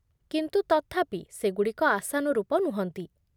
କିନ୍ତୁ ତଥାପି, ସେଗୁଡ଼ିକ ଆଶାନୁରୂପ ନୁହନ୍ତି।